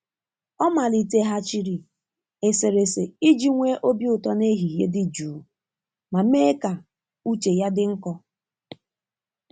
Ọ maliteghachiri eserese iji nwee obi ụtọ n'ehihie dị jụụ ma mee ka uche ya dị nkọ.